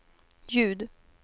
ljud